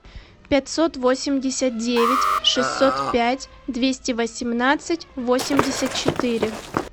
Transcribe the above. пятьсот восемьдесят девять шестьсот пять двести восемнадцать восемьдесят четыре